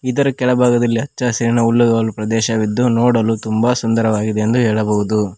ಇದರ ಕೆಳಭಾಗದಲ್ಲಿ ಹಚ್ಚಹಸಿರಿನ ಹುಲ್ಲುಗಾವಲು ಪ್ರದೇಶವಿದ್ದು ನೋಡಲು ತುಂಬ ಸುಂದರವಾಗಿದೆ ಎಂದು ಹೇಳಬಹುದು.